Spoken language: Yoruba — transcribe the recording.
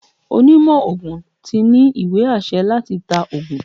Onímo ogún tí ní íwe-ásẹ latÌ ta ọ̀gùn